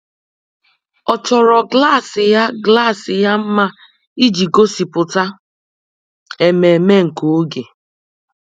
Ọ́ chọ́rọ́ klas ya klas ya mma iji gósípụ́ta ememe nke oge.